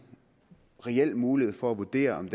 reel mulighed for at vurdere om